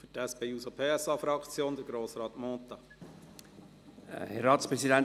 Für die SP-JUSO-PSA-Fraktion: Grossrat Mentha.